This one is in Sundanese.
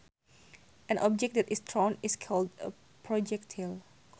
An object that is thrown is called a projectile